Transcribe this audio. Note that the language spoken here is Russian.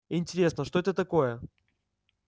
интересно что это такое